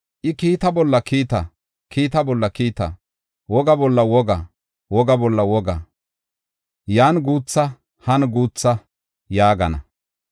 I, kiitta bolla kiitta, kiitta bolla kiitta; woga bolla woga, woga bolla woga; yan guutha han guutha” yaagana.